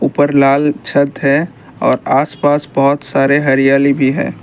ऊपर लाल छत है और आसपास बहुत सारे हरियाली भी है।